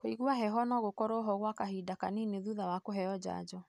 Kũigua heho nogũkorwoho gwa kahinda kanini thutha wa kũheo janjo.